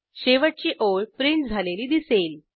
शेवटची ओळ प्रिंट झालेली दिसेल